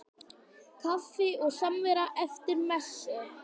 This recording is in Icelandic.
Kaffi og samvera eftir messu.